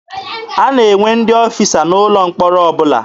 A na-enwe ndị ọfịsa n'ụlọ mkpọrọ ọbụla.